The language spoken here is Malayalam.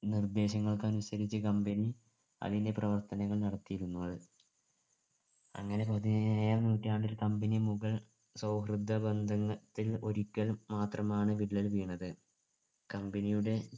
നിർദ്ദേശങ്ങൾക്കനുസരിച്ച് company അതിൻ്റെ പ്രവർത്തനങ്ങൾ നടത്തിയിരുന്നത് അങ്ങനെ പതിനേഴാം നൂറ്റാണ്ടിൽ company മുഗൾ സൗഹൃദബന്ധങ്ങ ത്തിൽ ഒരിക്കൽ മാത്രമാണ് വിള്ളൽ വീണത് company യുടെ